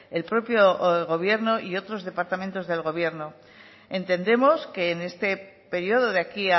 el propio gobierno y otros departamentos del gobierno entendemos que en este periodo de aquí